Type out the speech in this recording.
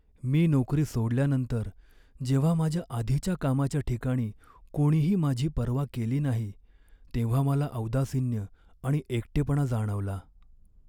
मी नोकरी सोडल्यानंतर जेव्हा माझ्या आधीच्या कामाच्या ठिकाणी कोणीही माझी पर्वा केली नाही तेव्हा मला औदासिन्य आणि एकटेपणा जाणवला.